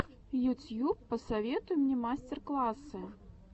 ютьюб посоветуй мне мастер классы